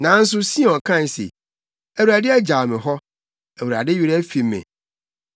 Nanso Sion kae se, “ Awurade agyaw me hɔ, Awurade werɛ afi me.”